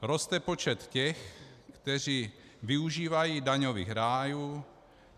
Roste počet těch, kteří využívají daňových rájů.